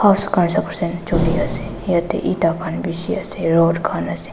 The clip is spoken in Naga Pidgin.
yatae eta khan bishi ase rod khan ase.